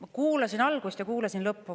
Ma kuulasin algust ja kuulasin lõppu.